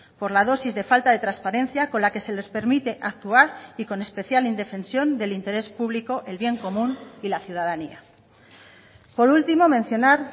por la dosis de falta de transparencia con la que se les permite actuar y con especial indefensión del interés público el bien común y la ciudadanía por último mencionar